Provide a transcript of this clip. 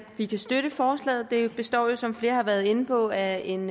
vi kan støtte forslaget det består jo som flere har været inde på af en